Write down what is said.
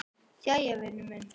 Jæja, vinur minn.